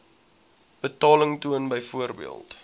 betaling toon byvoorbeeld